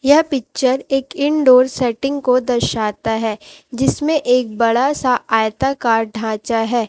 यह पिक्चर एक indoor setting को दर्शाता है जिसमें एक बड़ा सा आयताकार ढांचा है।